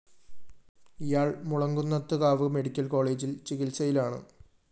ഇയാള്‍ മുളങ്കുന്നത്ത്കാവ് മെഡിക്കൽ കോളേജില്‍ ചികിത്സയിലാണ്